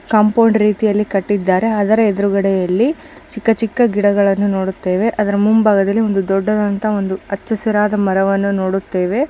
Compound ರೀತಿಯಲ್ಲಿ ಕಟ್ಟಿದ್ದಾರೆ. ಅದರ ಎದುರಲ್ಲಿ ಚಿಕ್ಕ ಚಿಕ್ಕ ಗಿಡಗಲ್ಲನು ನೋಡುತ್ತೇವೆ. ಅದರ ಮುಂಬಾಗದಲ್ಲಿ ಅಚ್ಚು ಹಸಿರಾದ ಮರವನು ನೋಡುತ್ತೇವೆ.